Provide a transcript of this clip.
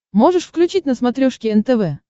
можешь включить на смотрешке нтв